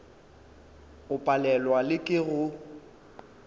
o palelwa le ke go